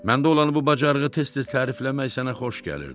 Məndə olan bu bacarığı tez-tez tərifləmək sənə xoş gəlirdi.